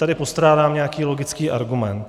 Tady postrádám nějaký logický argument.